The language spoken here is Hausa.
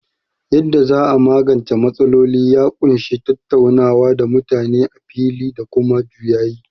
Yadda za a magance matsaloli ya ƙunshi tattaunawa da mutane a fili da kuma juyayi.